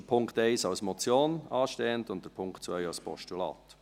Dort steht der Punkt 1 als Motion an und der Punkt 2 als Postulat.